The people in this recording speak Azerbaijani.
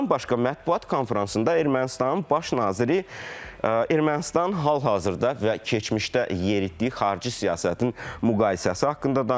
Bundan başqa mətbuat konfransında Ermənistanın baş naziri Ermənistanın hal-hazırda və keçmişdə yeritdiyi xarici siyasətin müqayisəsi haqqında danışıb.